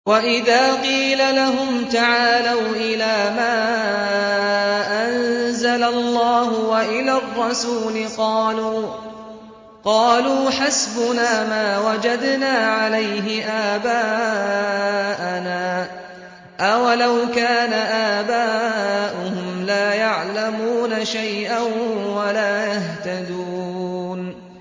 وَإِذَا قِيلَ لَهُمْ تَعَالَوْا إِلَىٰ مَا أَنزَلَ اللَّهُ وَإِلَى الرَّسُولِ قَالُوا حَسْبُنَا مَا وَجَدْنَا عَلَيْهِ آبَاءَنَا ۚ أَوَلَوْ كَانَ آبَاؤُهُمْ لَا يَعْلَمُونَ شَيْئًا وَلَا يَهْتَدُونَ